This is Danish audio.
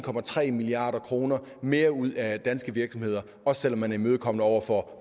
milliard kroner mere ud af danske virksomheder også selv om man er imødekommende over for